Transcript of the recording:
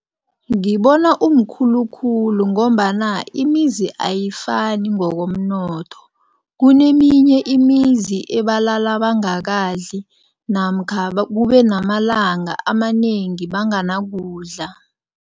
Ngibona umkhulu khulu ngombana imizi ayifani ngokomnotho. Kuneminye imizi ebalala bangakadli namkha kube namalanga amanengi banganakudla.